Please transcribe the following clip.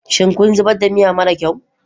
Shin kun zubar da miya mara kyau?